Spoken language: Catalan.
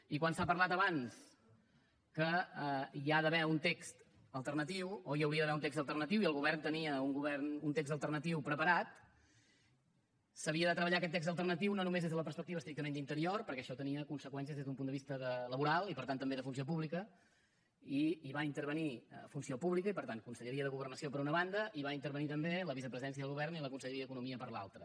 i quan s’ha parlat abans que hi ha d’haver un text alternatiu o hi hauria d’haver un text alternatiu i el govern tenia un text alternatiu preparat s’havia de treballar aquest text alternatiu no només des de la perspectiva estrictament d’interior perquè això tenia conseqüències des d’un punt de vista laboral i per tant també de funció pública hi va intervenir funció pública i per tant conselleria de governació per una banda i hi va intervenir també la vicepresidència del govern i la conselleria d’economia per l’altra